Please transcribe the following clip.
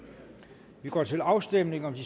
vi går til afstemning om de